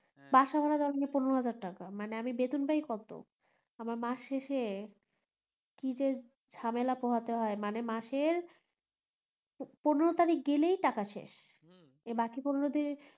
বাসা ভাড়া লাগে পনেরো হাজার টাকা মানে আমি বেতন পাই কত আমার মাস শেষে কি যে ঝামেলা পোহাতে হয় মানে মাস এর পনেরো তারিক গেলেই টাকা শেষ এই বাকি পনেরো দিন